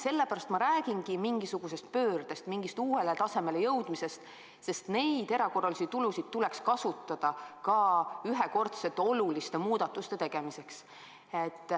Sellepärast ma räägingi mingisugusest pöördest, mingist uuele tasemele jõudmisest, sest neid erakorralisi tulusid tuleks kasutada ka ühekordsete oluliste muudatuste tegemiseks.